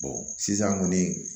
sisan kɔni